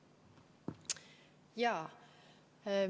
Jaa.